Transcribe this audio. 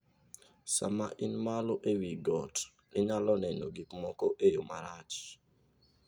Sama in malo e wi got, inyalo neno gik moko e yo malach.